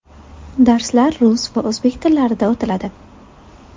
Darslar rus va o‘zbek tillarida o‘tiladi!